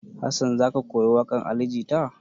Hassan za ka koyi waƙar Ali Jita?